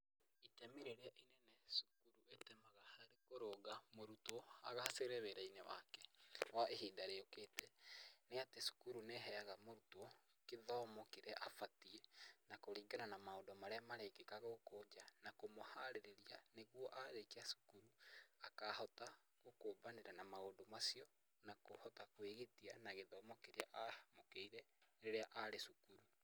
Itemi rĩrĩa inene cukuru ĩtemaga harĩ kũrũnga mũrutwo agacĩre wĩra-inĩ wake kwa ihinda rĩukĩte, nĩ atĩ cukuru nĩ ĩheaga mũrutwo gĩthomo kĩrĩa abatiĩ na kũringana na maũndũ marĩa marekĩka gũkũ nja na kũmũharĩria nĩguo arĩkia cukuru akahota gũkũmbanĩra na maũndũ macio, na kũhota kwĩgitia na gĩthomo kĩrĩa agĩire rĩrĩa arĩ cukuru.